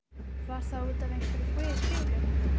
Var það út af einhverri bilun?